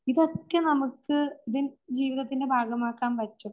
ഇതൊക്കെ നമുക്ക് വ്യക്തിജീവിതത്തിന്റെ ഭാഗമാക്കാൻ പറ്റും